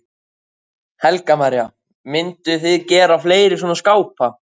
Helga María: Mynduð þið gera fleiri svona skápa?